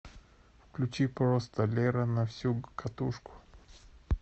включи просто лера на всю катушку